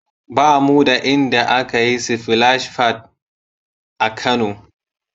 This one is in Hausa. Ba mu da inda aka yi sifilash fad (splash pad) a Kano.